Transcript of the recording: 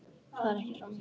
Það er ekki sama hver er.